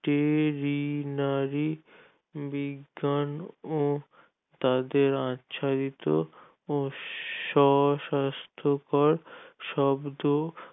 veterinary বিজ্ঞান ও তাদের আচ্ছাদিত ও স্ব-স্বাস্থকর শব্দ